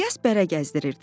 İlyas bərə gəzdirirdi.